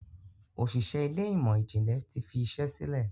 Òṣìṣẹ́ Ilé ìmọ̀n-jinlẹ tí fí iṣé sílè.